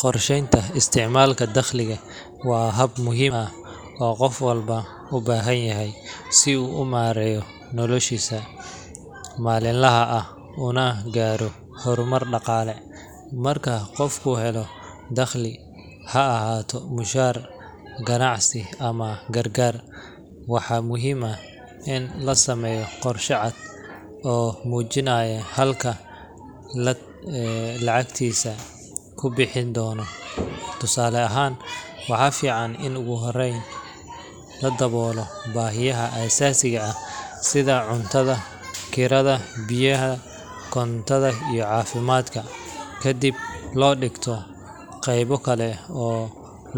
Qorsheynta isticmaalka dakhliga waa hab muhiim ah oo qof walba u baahan yahay si uu u maareeyo noloshiisa maalinlaha ah una gaaro horumar dhaqaale. Marka qofku helo dakhli, ha ahaado mushahar, ganacsi ama gargaar, waxaa muhiim ah in la sameeyo qorshe cad oo muujinaya halka lacagtaasi ku bixi doonto. Tusaale ahaan, waxaa fiican in ugu horreyn la daboolo baahiyaha aasaasiga ah sida cuntada, kirada, biyaha, korontada iyo caafimaadka, kadibna la dhigto qaybo kale oo